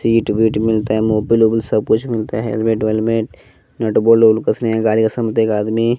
seat वीट मिलता है मोबिल ओबिल सब कुछ मिलता है हेलमेट वेलमेट नट बोल्ट ओल्ट कसने का गाड़ी का एक आदमी--